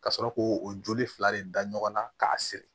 Ka sɔrɔ k'o o joli fila de da ɲɔgɔn na k'a siri